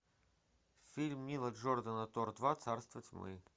фильм нила джордана тор два царство тьмы